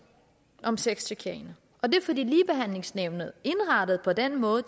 om sexchikane og det er fordi ligebehandlingsnævnet er indrettet på den måde